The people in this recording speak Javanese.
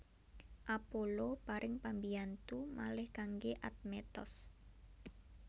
Apollo paring pambiyantu malih kanggé Admetos